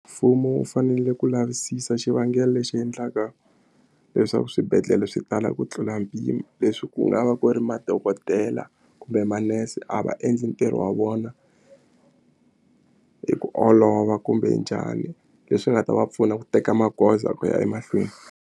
Mfumo wu fanele ku lavisisa xivangelo lexi endlaka leswaku swibedhlele swi tala ku tlula mpimo leswi ku nga va ku ri madokodela kumbe manese a va endli ntirho wa vona hi ku olova kumbe njhani leswi nga ta va pfuna ku teka magoza ku ya emahlweni.